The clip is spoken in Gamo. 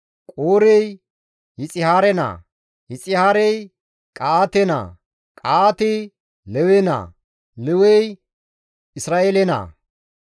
Qoorey Yixihaare naa; Yixihaarey Qa7aate naa; Qahaatey Lewe naa; Lewey Isra7eele naa.